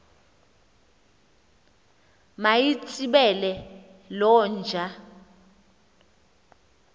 mayitsibele loo nja